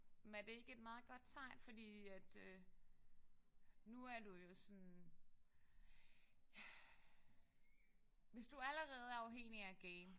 Men er det ikke et meget godt tegn fordi at øh nu er du jo sådan hvis du allerede er afhængig af at game